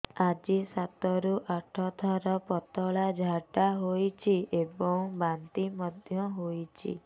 ଆଜି ସାତରୁ ଆଠ ଥର ପତଳା ଝାଡ଼ା ହୋଇଛି ଏବଂ ବାନ୍ତି ମଧ୍ୟ ହେଇଛି